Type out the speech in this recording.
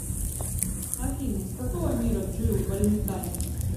афина из какого мира джилл валентайн